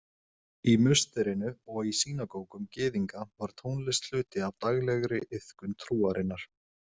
Í musterinu og í sýnagógum gyðinga var tónlist hluti af daglegri iðkun trúarinnar.